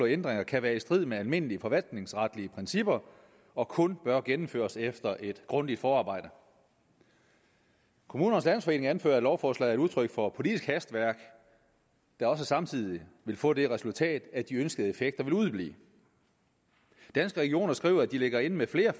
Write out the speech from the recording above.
ændringer kan være i strid med almindelige forvaltningsretlige principper og kun bør gennemføres efter et grundigt forarbejde kommunernes landsforening anfører at lovforslaget er udtryk for politisk hastværk der også samtidig vil få det resultat at de ønskede effekter vil udeblive danske regioner skriver at de ligger inde med flere